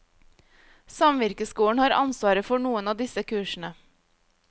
Samvirkeskolen har ansvaret for noen av disse kursene.